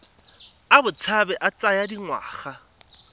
a botshabi a tsaya dingwaga